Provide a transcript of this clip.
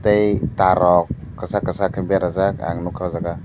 tei tar rok kosag kosag ke berajak ang nogkha ojaga.